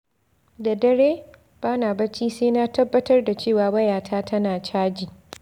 Da dare, ba na bacci sai na tabbatar da cewa wayata tana caji.